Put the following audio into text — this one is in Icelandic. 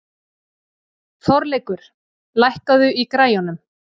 Þorleikur, lækkaðu í græjunum.